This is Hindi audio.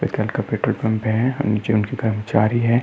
पेट्रोल पंप है। नीचे कर्मचारी हैं।